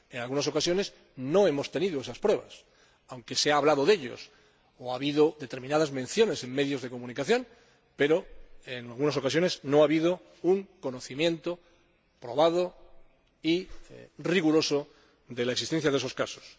En algunas ocasiones no hemos tenido esas pruebas, aunque se ha hablado de ellas, o se han hecho determinadas menciones en medios de comunicación, pero en algunas ocasiones no ha habido un conocimiento probado y riguroso de la existencia de esos casos.